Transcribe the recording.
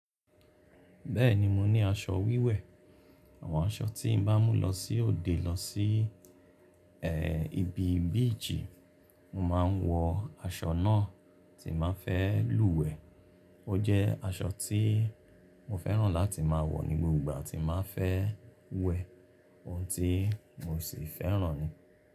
Bẹ́ẹ̀ni mo ní aṣọ wíwẹ̀, àwọn aṣọ tí n bá mú lọ sí òde lọ sí eh ibi bíìjì, mo ma ń wọ aṣọ náà tí màá fẹ́ lúwẹ̀ẹ́. Ó jẹ́ aṣọ tí mo fẹ́ràn láti máa wọ ní gbogbo ìgbà tí màá fẹ́ wẹ̀ ohun tí mo sì fẹ́ràn ni.